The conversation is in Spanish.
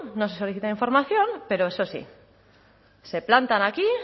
no se ha solicitado información pero eso sí se plantan aquí